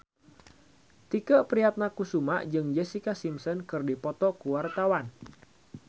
Tike Priatnakusuma jeung Jessica Simpson keur dipoto ku wartawan